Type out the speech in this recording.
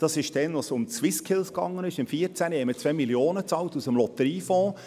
Im Jahr 2014, als es um «Swiss Skills» ging, bezahlten wir 2 Mio. Franken aus dem Lotteriefonds.